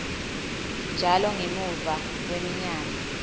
njalo ngemuva kweminyaka